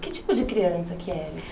Que tipo de criança que era?